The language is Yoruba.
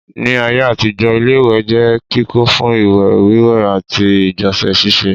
Ní ayé àtijọ́ ilé-ìwẹ̀ jẹ́ kíkọ́ fún ìwẹ̀ wíwẹ̀ àti ìgbọ̀nsẹ̀ síse